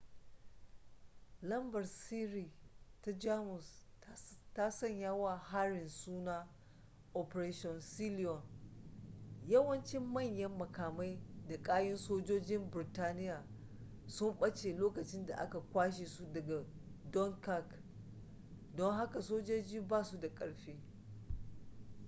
lambar-sirri ta jamus ta sanya wa harin suna operation sealion yawancin manyan makamai da kayan sojojin burtaniya sun ɓace lokacin da aka kwashe su daga dunkirk don haka sojojin ba su da ƙarfi